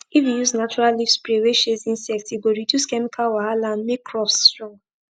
if you use natural leaf spray wey chase insect e go reduce chemical wahala and make crops strong